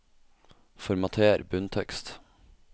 Formater bunntekst